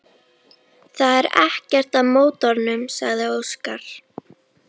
Það er ekkert að mótornum, sagði Óskar.